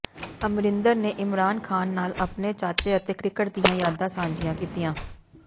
ਅਮਰਿੰਦਰ ਨੇ ਇਮਰਾਨ ਖ਼ਾਨ ਨਾਲ ਆਪਣੇ ਚਾਚੇ ਅਤੇ ਕ੍ਰਿਕਟ ਦੀਆਂ ਯਾਦਾਂ ਸਾਂਝੀਆਂ ਕੀਤੀਆਂ